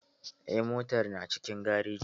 Eh, motar na cikin garejin